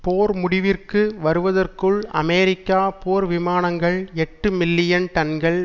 போர் முடிவிற்கு வருவதற்குள் அமெரிக்க போர் விமானங்கள் எட்டு மில்லியன் டன்கள்